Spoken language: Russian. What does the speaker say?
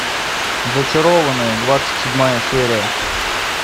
зачарованные двадцать седьмая серия